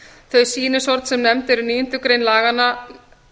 þau sýnishorn sem nefnd eru í níundu grein laganna